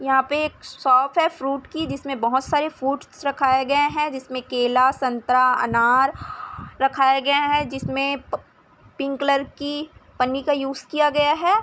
यहाँ पे एक शॉप है फ्रूट की जिसमें बहुत सारे फ्रूट्स रखाये गए है जिसमें केला संतरा अनार रखाए गए है जिसमें पि पिंक कलर की पन्नी का यूज़ किया गया है।